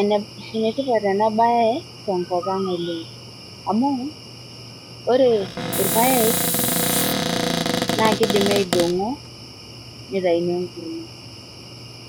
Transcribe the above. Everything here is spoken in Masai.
enetipat ena baye tenkop ang oleng amu ore irpayek naa kidimi aidong'o nitaini enkurma